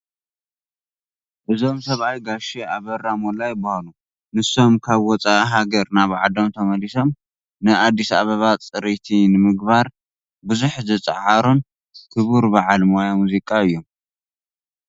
እዞም ሰብኣይ ጋሼ ኣበራ ሞላ ይበሃሉ፡፡ ንሶም ካብ ወፃኢ ሃገር ናብ ዓዶም ተመሊሶም ንኣዲስ ኣባባ ፅርይቲ ንምግባር ብዙሕ ዝፀዓሩ ክቡር በዓል ሞያ ሙዚቃ እዮም፡፡